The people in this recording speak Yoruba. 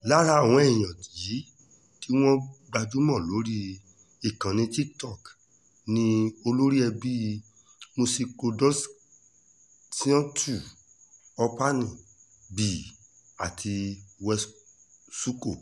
lára àwọn èèyàn yìí tí wọ́n gbajúmọ̀ lórí ìkànnì tiktok ni olóríẹbíi musicroduzionetu operny bee àti wetsuko